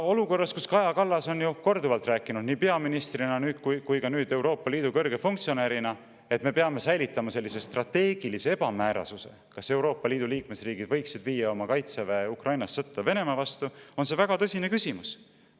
Olukorras, kus Kaja Kallas on korduvalt rääkinud nii peaministrina kui ka nüüd Euroopa Liidu kõrge funktsionäärina, et me peame säilitama sellise strateegilise ebamäärasuse, kas Euroopa Liidu liikmesriigid võiksid viia oma kaitseväe Ukrainas sõtta Venemaa vastu, on see väga tõsine küsimus.